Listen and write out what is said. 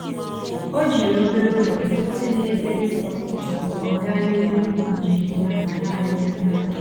O jiri obere oge kwụsị n’ebe nsọ tupu ọ gaa n’ihu n'njem ya naanị ya naanị ya.